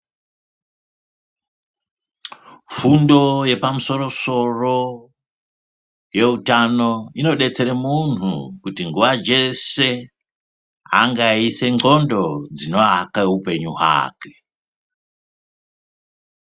Fundo yepamusoro soro yeutano inodetsera munhu kuti nguwa dzese ange eyiise ndxondo dzinoaka hupenyu hwake.